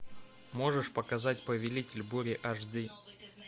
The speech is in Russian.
можешь показать повелитель бури аш ди